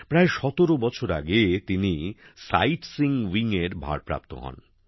প্রায় ১৭ বছর আগে তিনি সাইটসিইং উইং এর ভারপ্রাপ্ত হন